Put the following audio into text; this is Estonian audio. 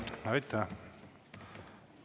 Aitäh!